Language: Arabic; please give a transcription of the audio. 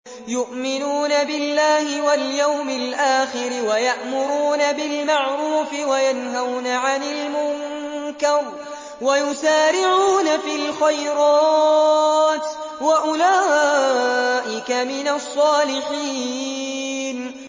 يُؤْمِنُونَ بِاللَّهِ وَالْيَوْمِ الْآخِرِ وَيَأْمُرُونَ بِالْمَعْرُوفِ وَيَنْهَوْنَ عَنِ الْمُنكَرِ وَيُسَارِعُونَ فِي الْخَيْرَاتِ وَأُولَٰئِكَ مِنَ الصَّالِحِينَ